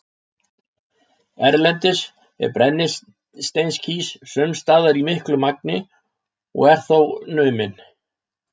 Erlendis er brennisteinskís sums staðar til í miklu magni og er þá numinn.